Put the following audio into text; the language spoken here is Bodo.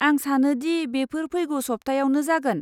आं सानो दि बेफोर फैगौ सप्तायावनो जागोन।